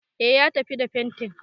E, ya tafi da fentin.